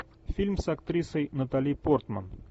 фильм с актрисой натали портман